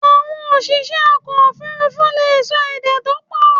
Àwon òsìsẹ́ ọkọ̀ òfurufú leè so èdè to pọ̀